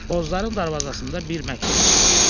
Bozların darvazasında bir məktub asılmışdı.